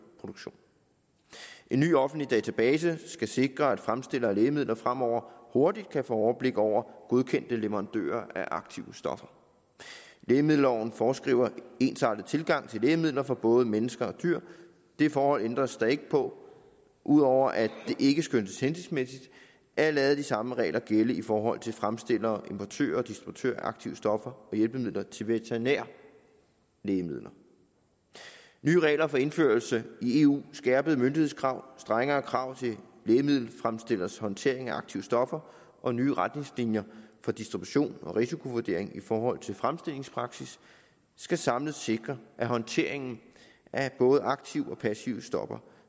produktionen en ny offentlig database skal sikre at fremstillere af lægemidler fremover hurtigt kan få overblik over godkendte leverandører af aktive stoffer lægemiddelloven foreskriver en ensartet tilgang til lægemidler for både mennesker og dyr det forhold ændres der ikke på ud over at det ikke skønnes hensigtsmæssigt at lade de samme regler gælde i forhold til fremstillere importører og distributører af aktive stoffer og hjælpemidler til veterinære lægemidler nye regler for indførelse i eu skærpede myndighedskrav strengere krav til lægemiddelfremstillers håndtering af aktive stoffer og nye retningslinjer for distribution og risikovurdering i forhold til fremstillingspraksis skal samlet sikre at håndteringen af både aktive